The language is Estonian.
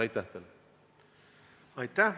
Aitäh!